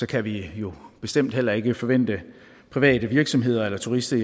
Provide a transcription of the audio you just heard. kan vi jo bestemt heller ikke forvente at private virksomheder eller turister